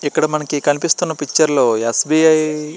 ఇక్కడ మనకు కనిపిస్తూన పిక్చర్ లో ఎస్.బి.ఐ. --